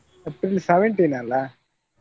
April seventeen ಅಲ್ಲಾ?